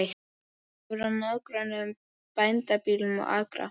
Hefur að nágrönnum bændabýli og akra.